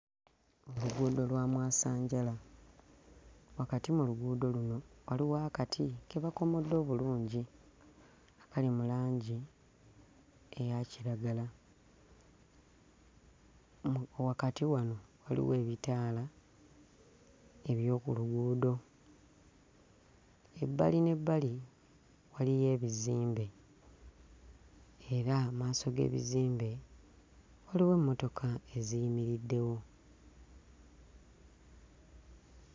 Luguudo lwa mwasanjala, wakati mu luguudo luno waliwo akati ke bakomodde obulungi akali mu langi eya kiragala, mu wakati wano waliwo ebitaala eby'oku luguudo, ebbali n'ebbali waliyo ebizimbe era mmaaso g'ebizimbe waliwo emmotoka eziyimiriddewo.